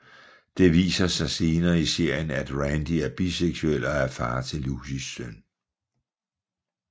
Det viser sig senere i serien af Randy er biseksuel og er far til Lucys søn